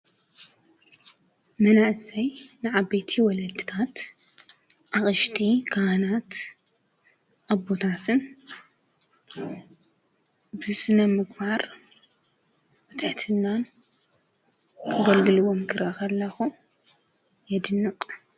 መናእሰይ ንዓ በቲ ወለድታት ኣቕሽቲ ካህናት ኣቦታትን ብስነ ምግባር ወጠትናን ክገልግልዎም ክረኽቡ ኣለኹ የድኖቆ።